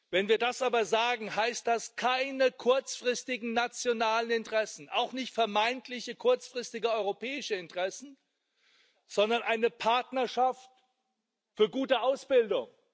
Wenn wir das aber sagen, heißt das keine kurzfristigen nationalen Interessen, auch nicht vermeintliche, kurzfristige europäische Interessen, sondern eine Partnerschaft für gute Ausbildung.